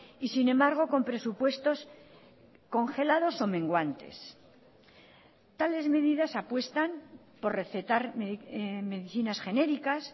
y sin embargo con presupuestos congelados o menguantes tales medidas apuestan por recetar medicinas genéricas